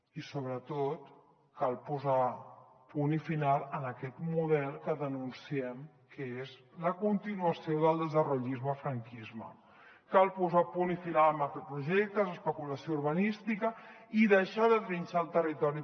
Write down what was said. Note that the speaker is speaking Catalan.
i sobretot cal posar punt i final a aquest model que denunciem que és la continuació del desarrollismocal posar punt i final a macroprojectes d’especulació urbanística i deixar de trinxar el territori